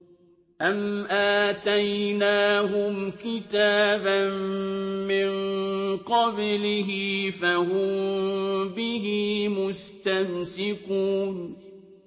أَمْ آتَيْنَاهُمْ كِتَابًا مِّن قَبْلِهِ فَهُم بِهِ مُسْتَمْسِكُونَ